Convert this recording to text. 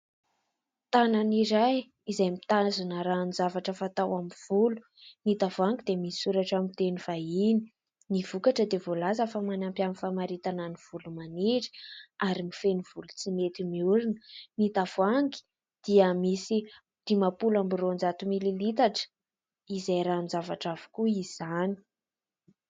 Tanan'iray izay mitazona ranon-javatra fatao amin'ny volo, ny tavoahangy dia misy misoratra amin'ny teny vahiny, ny vokatra dia voalaza fa manampy amin'ny famaritana ny volo maniry ary mifehy volo tsy mety miorina, ny tavoahangy dia misy dimampolo amby roanjato mily litatra izay ranon-javatra avokoa izany.